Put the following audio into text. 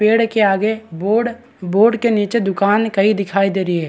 पेड़ के आगे बोर्ड बोर्ड के नीचे दुकान कई दिखाई दे रही है।